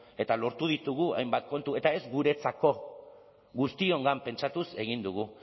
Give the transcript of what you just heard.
eta lortu ditugu hainbat kontu eta ez guretzako guztiongan pentsatuz egin dugu